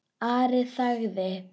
Ari þagði.